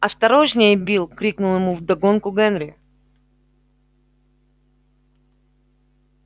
осторожнее билл крикнул ему вдогонку генри